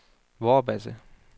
Vorbasse